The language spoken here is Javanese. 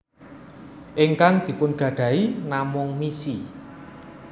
Ingkang dipun gadahi namung misi